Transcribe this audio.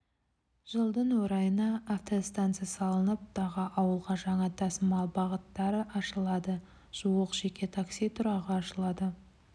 жылдың орайында автостанса салынып тағы ауылға жаңа тасымал бағыттары ашылады жуық жеке такси тұрағы ашылады